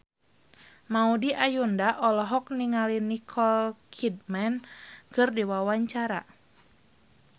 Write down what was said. Maudy Ayunda olohok ningali Nicole Kidman keur diwawancara